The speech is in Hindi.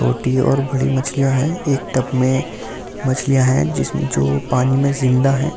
छोटी और बड़ी मछलियां हैं एक टब में मछलियां हैं जिसमें जो पानी में जिंदा हैं।